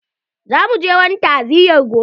Za mu je wani ta'aziya gobe.